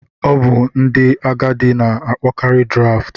Ọ bụ ndị agadi na-akpọkarị Draft.